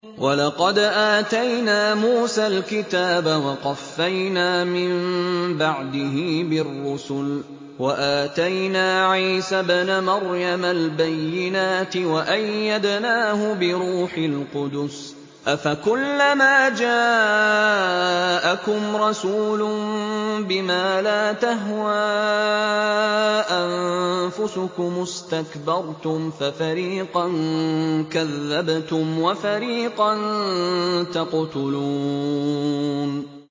وَلَقَدْ آتَيْنَا مُوسَى الْكِتَابَ وَقَفَّيْنَا مِن بَعْدِهِ بِالرُّسُلِ ۖ وَآتَيْنَا عِيسَى ابْنَ مَرْيَمَ الْبَيِّنَاتِ وَأَيَّدْنَاهُ بِرُوحِ الْقُدُسِ ۗ أَفَكُلَّمَا جَاءَكُمْ رَسُولٌ بِمَا لَا تَهْوَىٰ أَنفُسُكُمُ اسْتَكْبَرْتُمْ فَفَرِيقًا كَذَّبْتُمْ وَفَرِيقًا تَقْتُلُونَ